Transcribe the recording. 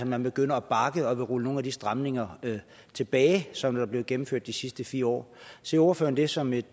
man begynder at bakke og vil rulle nogle af de stramninger tilbage som er blevet gennemført de sidste fire år ser ordføreren det som et